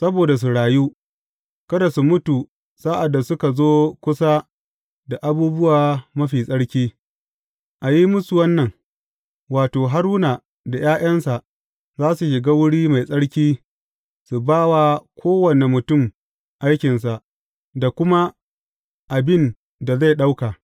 Saboda su rayu, kada su mutu sa’ad da suka zo kusa da abubuwa mafi tsarki, a yi musu wannan, wato, Haruna da ’ya’yansa za su shiga wuri mai tsarki su ba wa kowane mutum aikinsa da kuma abin da zai ɗauka.